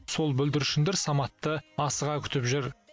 сол бүлдіршіндер саматты асыға күтіп жүр